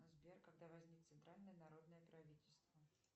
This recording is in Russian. сбер когда возник центральное народное правительство